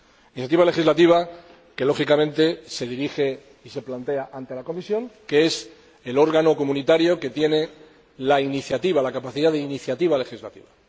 Iniciativa legislativa que, lógicamente, se dirige y se plantea ante la Comisión, que es el órgano comunitario que tiene la capacidad de iniciativa legislativa.